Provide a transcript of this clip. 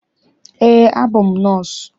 Eé, abụ m nọọsụ.